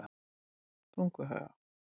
Tunguhaga